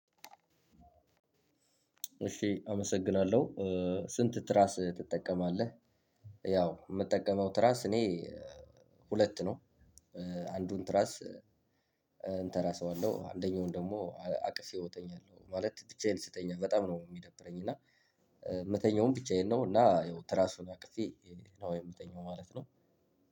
እሽ አመሰግናለሁ ስንት ትራስ ትጠቀማልህ? ያው የምጠቀመው ትራስ እኔ ሁለት ነው። አንዱን ትራስ እንተራሰዋለሁ አንደኛውን ደግሞ አቅፌው እተኛለሁ ማለት ብቻዬን ስተኛ በጣም ነው የሚደብረኝ። እና የምተኛውም ብቻዬን ነው። እና ያው ትራሱን አቅፌ ነው የምተኛው ማለት ነው።